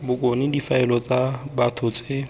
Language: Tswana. bokone difaele tsa batho tse